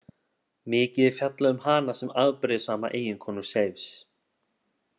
Mikið er fjallað um hana sem afbrýðissama eiginkonu Seifs.